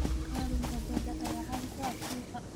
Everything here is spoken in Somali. Kalluunka badda ayaa caan ku ah suuqa.